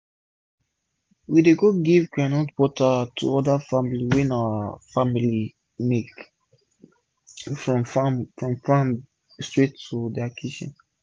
we dey go give groundnut butter to oda family wey our family make from farm from farm straight to dia kitchen